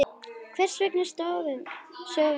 Hvers vegna sofum við?